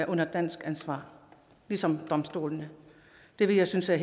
er under dansk ansvar ligesom domstolene det vil jeg synes er